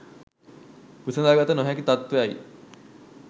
විසඳාගත නොහැකි තත්ත්වයයි.